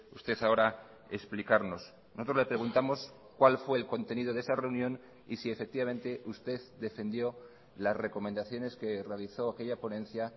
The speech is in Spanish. usted ahora explicarnos nosotros le preguntamos cuál fue el contenido de esa reunión y si efectivamente usted defendió las recomendaciones que realizó aquella ponencia